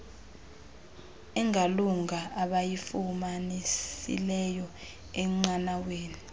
engalunga abayifumanisileyo enqanaweni